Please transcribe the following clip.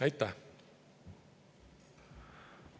Aitäh!